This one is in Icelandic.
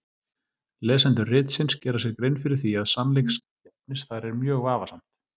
Lesendur ritsins gera sér grein fyrir því að sannleiksgildi efnis þar er mjög vafasamt.